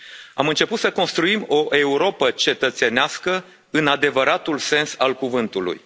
Am început să construim o Europă cetățenească în adevăratul sens al cuvântului.